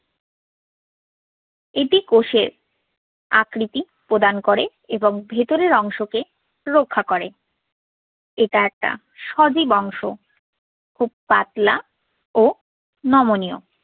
এটি কোষের আকৃতি প্রদান করে এবং ভেতরের অংশকে রক্ষা করে। এটা একটা সজীব অংশ খুব পাতলা ও নমনীয়।